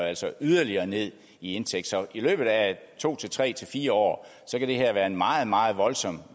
altså yderligere ned i indtægt så i løbet af to tre fire år kan det her være en meget meget voldsom